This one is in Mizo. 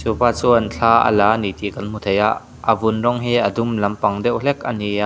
chuan thla a la a ni tih kan hmu thei a a vun rawng hi a dum lampang deuh hlek ani a.